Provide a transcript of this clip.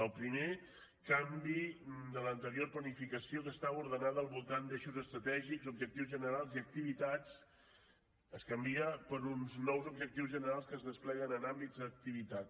el primer canvi de l’anterior planificació que estava ordenada al voltant d’eixos estratègics objectius generals i activitats es canvia per uns nous objectius generals que es despleguen en àmbits d’activitat